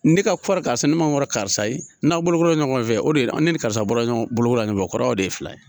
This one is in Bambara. Ne ka kɔrɔ karisa ye ne man kɔrɔ karisa ye n'aw bolo kora ɲɔgɔn fɛ o de ye ne ni karisa bɔra ɲɔgɔn bolo ko la ɲɔgɔn fɛ o kɔrɔ aw de ye filan ye.